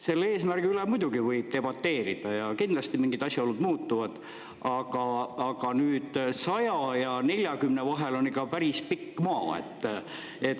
Selle eesmärgi üle muidugi võib debateerida ja kindlasti mingid asjaolud muutuvad, aga nüüd 100 ja 40 vahel on ikka päris pikk maa.